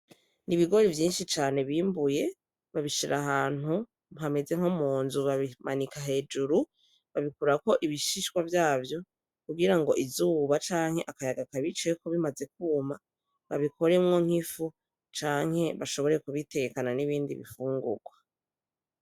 Ni ibigore vyinshi cane bimbuye babishira ahantu mpameze nko mu nzu babimanika hejuru babikura ko ibishishwa vyavyo kugira ngo izuba canke akayaga kabicayeko bimaze kwuma babikoremwo nk'ifu canke bashobore kubitekana n'ibindi bifungurwa.